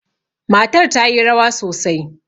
Matar ta yi rawa sosai.